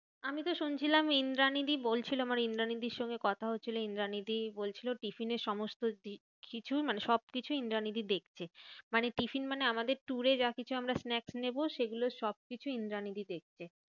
আমিতো শুনছিলাম ইন্দ্রানী দি বলছিল, আমার ইন্দ্রানীদির সঙ্গে কথা হচ্ছিলো। ইন্দ্রানীদি বলছিলো tiffin এ সমস্ত কিছু মানে সব কিছু ইন্দ্রানীদি দেখছে। মানে tiffin মানে আমাদের tour এ যা কিছু আমরা snacks নেবো সেগুলো সব কিছুই ইন্দ্রানীদি দেখছে।